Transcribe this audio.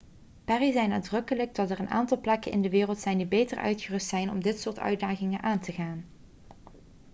perry zei nadrukkelijk dat 'er een aantal plekken in de wereld zijn die beter uitgerust zijn om dit soort uitdagingen aan te gaan.'